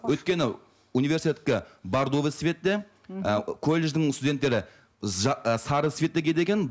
өйткені университеттікі бардовый цветте і колледждің студенттері ы сары цветті киеді екен